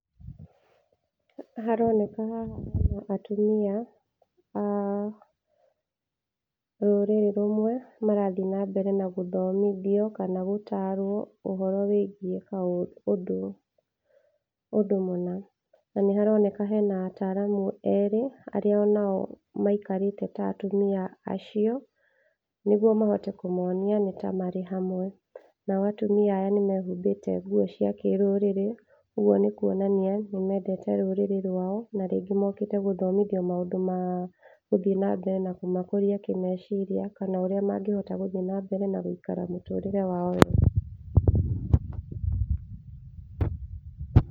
Haroneka haha hena atumia a rũrĩrĩ rũmwe marathi na mbere na gũthomithio, kana gũtarwo ũhoro wĩgiĩ ũndũ ũndũ mũna, na nĩ haroneka hena ataramu erĩ arĩa o nao maikarĩte ta atumia acio, nĩguo mahote kũmwonia nĩta marĩ hamwe , nao atumia aya nĩmehumbĩte nguo cia kĩrũrĩrĩ, ũguo nĩ kuonania nĩ mendete rũrĩrĩ rwao, na rĩngĩ mokĩte gũthomithio maũndũ ma gũthiĩ na mbere na kũmakũria kĩmeciria, kana ũrĩa mangĩhota gũthiĩ na mbere na gũikara mũtũrĩre wao wega.